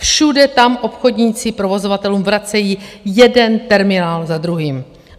Všude tam obchodníci provozovatelům vracejí jeden terminál za druhým.